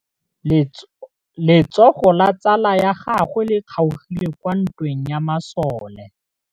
Letsôgô la tsala ya gagwe le kgaogile kwa ntweng ya masole.